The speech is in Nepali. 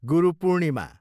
गुरु पूर्णिमा